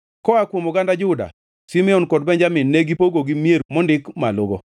Koa kuom oganda Juda, Simeon, kod Benjamin negipogogi mier mondik malogo.